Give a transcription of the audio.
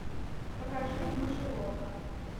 покажи мышеловка